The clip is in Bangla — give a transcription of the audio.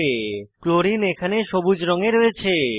ক্লোরিন ক্লোরিন এখানে সবুজ রঙে রয়েছে